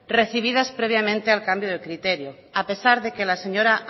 recibidas previamente al cambio del criterio a pesar de que las señora